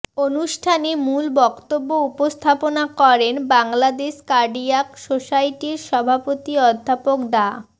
অনুষ্ঠানে মূল বক্তব্য উপস্থাপনা করেন বাংলাদেশ কার্ডিয়াক সোসাইটির সভাপতি অধ্যাপক ডা